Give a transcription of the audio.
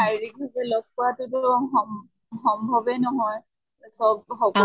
শাৰীৰিক ভালে লগ পোৱাতো টো সম সম্ভৱে নহয়, চব সক